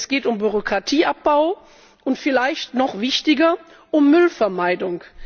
Es geht um Bürokratieabbau und vielleicht noch wichtiger um Müllvermeidung.